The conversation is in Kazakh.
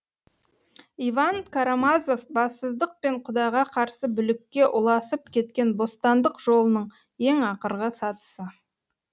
иван карамазов бассыздық пен құдайға қарсы бүлікке ұласып кеткен бостандық жолының ең ақырғы сатысы